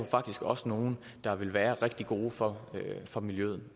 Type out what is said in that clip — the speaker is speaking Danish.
faktisk også nogle der vil være rigtig gode for for miljøet